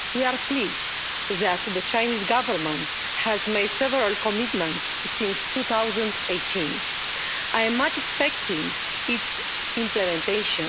We are pleased that the Chinese Government has made several commitments since 2018. I am much expecting its implementation.